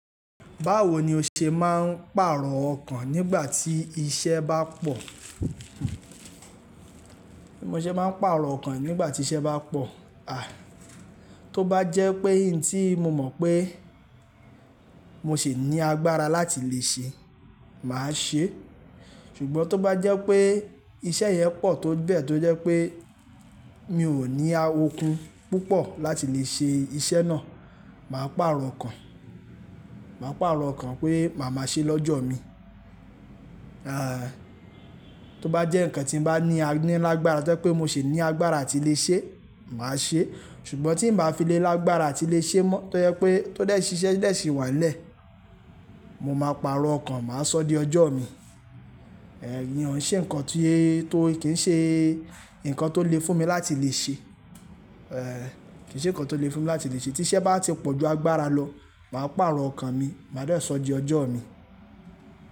Báwo ni o ṣe máa ń pàrọ̀ ọkàn nígbà tí iṣẹ́ bá pọ̀? Bí mo ṣe máa ń pàrọ̀ ọkàn nígbà tí iṣẹ́ bá pọ̀? Tó bá jẹ́ pé ohun n tí mo mọ̀ pé mo sì ní agbára láti lè ṣe, màá ṣe é. Ṣùgbọ́n tó bá jẹ́ pé iṣẹ́ yẹn pọ̀ tó bẹ́ẹ̀ tó jẹ́ pé mi ò ní okún púpọ̀ láti lè ṣe iṣẹ́ náà, màá pàrọ̀ ọkàn. Màá pàrọ̀ ọkàn pé màá máa ṣe é lọ́jọ́ mi. Tó bá jẹ́ nǹkan tí mo bá ní a ní lágbára to je pé mo sì ní agbára a tí lè ṣe é, màá ṣe é. Ṣùgbọ́n tí n ba fi le lágbára a tí lè ṣe ẹ́ mọ́ tó jẹ́ pé tọ dẹ̀ sí iṣẹ́ dẹ̀ sì wà n lẹ́, mo máa pàrọ̀ ọkàn, màá sọ di ọjọ́ mi. Kii nǹkan ti--tó kì í ṣe nǹkan tó le fún mi láti lè ṣe kì í ṣe nǹkan tó le fún mi láti lè ṣe. Tí iṣẹ́ bá ti pọ̀ ju agbára lọ, màá pàrọ̀ ọkàn mi, màá dè sọ di ọjọ́ mi.